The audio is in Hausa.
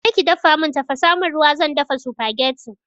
Je ki dafa mun tafasa mun ruwa zan dafa supagetti